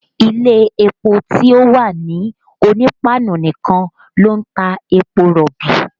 Ilé epo ti o wà ní Onípáánù nìkan ló ń ta epo rọ̀bì